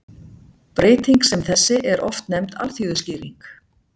Breyting sem þessi er oft nefnd alþýðuskýring.